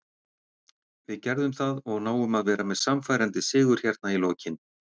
Við gerðum það og náum að vera með sannfærandi sigur hérna í lokin.